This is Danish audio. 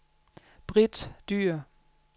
Britt Dyhr